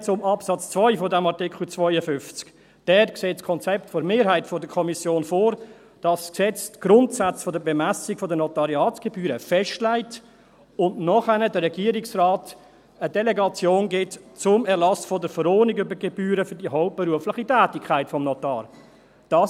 Dann zu Absatz 2 dieses Artikels 52: Dazu sieht das Konzept der Mehrheit der Kommission vor, dass das Gesetz die Grundsätze der Bemessung der Notariatsgebühren festlegt und danach dem Regierungsrat eine Delegation zum Erlass der Verordnung über die Gebühren für die hauptberufliche Tätigkeit des Notars gibt.